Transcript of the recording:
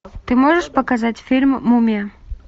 ты можешь показать фильм мумия